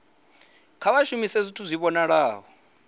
kha vha shumise zwithu zwi vhonalaho